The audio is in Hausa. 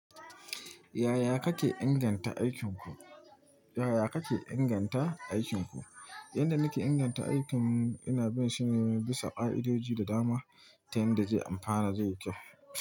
Yaya kake inganta aikinku? Yanda nake inganta aikin ina bin shine bisa ka'idoji da dama ta yanda zai amfana zai yi kyau.